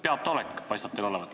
Peataolek paistab teil olevat.